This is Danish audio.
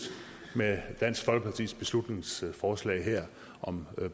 med dansk folkepartis beslutningsforslag her om